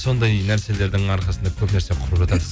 сондай нәрселердің арқасында көп нәрсе құрып